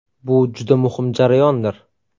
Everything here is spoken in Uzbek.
Bu juda muhim jarayondir.